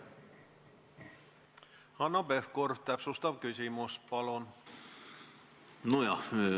Hanno Pevkur, täpsustav küsimus, palun!